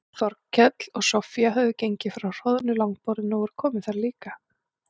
Þórkell og Soffía höfðu gengið frá hroðnu langborðinu og voru komin þar líka.